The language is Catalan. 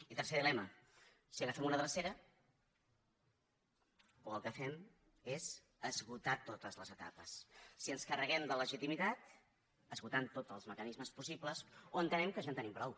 i tercer dilema si agafem una drecera o el que fem és esgotar totes les etapes si ens carreguem de legitimitat esgotant tots els mecanismes possibles o entenem que ja en tenim prou